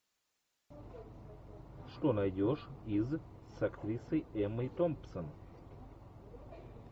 что найдешь из с актрисой эммой томпсон